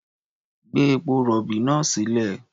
Gbé epo-rọ̀bì náà sílẹ̀.